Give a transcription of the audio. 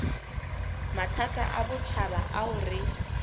mathata a botjhaba ao re